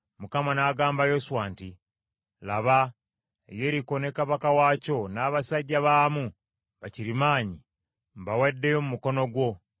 Mukama n’agamba Yoswa nti, “Laba, Yeriko ne kabaka waakyo n’abasajja baamu bakirimaanyi mbawaddeyo mu mukono gwammwe.